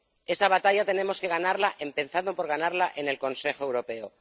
esa batalla tenemos que ganarla, empezando por ganarla en el Consejo Europeo.